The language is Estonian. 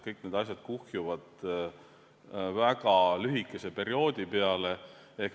Kõik need asjad kuhjuvad väga lühikese perioodi peale.